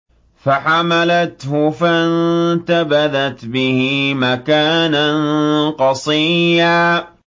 ۞ فَحَمَلَتْهُ فَانتَبَذَتْ بِهِ مَكَانًا قَصِيًّا